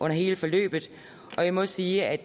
hele forløbet jeg må sige at